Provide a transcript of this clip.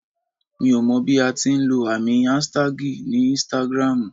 Mi ò mọ bí a ti ń lọ àmì aṣtagi ní Instagram ù.